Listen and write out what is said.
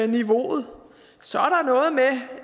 niveauet så